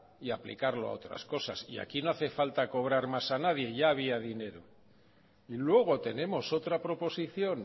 y aplicarlo a otras cosas aquí no hace falta cobrar más a nadie ya había dinero y luego tenemos otra proposición